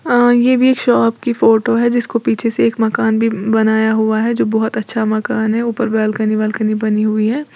ये भी एक शॉप की फोटो है जिसको पीछे से एक मकान भी बनाया हुआ है जो बहुत अच्छा मकान है ऊपर बालकनी वालकनी बनी हुई है।